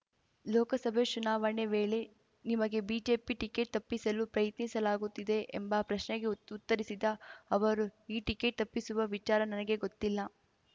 ಲೋಕಸಭೆ ಚುನಾವಣೆ ವೇಳೆ ನಿಮಗೆ ಬಿಜೆಪಿ ಟಿಕೆಟ್‌ ತಪ್ಪಿಸಲು ಪ್ರಯತ್ನಿಸಲಾಗುತ್ತಿದೆ ಎಂಬ ಪ್ರಶ್ನೆಗೆ ಉತ್ ಉತ್ತರಿಸಿದ ಅವರು ಈ ಟಿಕೆಟ್‌ ತಪ್ಪಿಸುವ ವಿಚಾರ ನನಗೆ ಗೊತ್ತಿಲ್ಲ